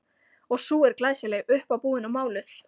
Og sú er glæsileg, uppábúin og máluð!